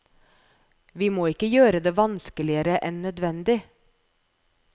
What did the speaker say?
Vi må ikke gjøre det vanskeligere enn nødvendig.